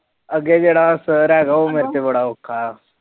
ਅੱਗੇ ਜਿਹੜਾ ਉਹ ਮੇਤੇ ਬੜਾ ਅੋਖਾ